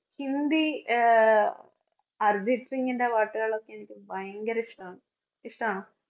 ഹിന്ദി ആഹ് അര്‍ജിത്ത് സിങ്ങിന്‍റെ പാട്ടുകളൊക്കെ എനിക്ക് ഭയങ്കരിഷ്ട്ടാണ്. ഇഷ്ട്ടാണോ?